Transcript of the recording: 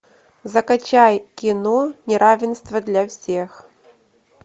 закачай кино неравенство для всех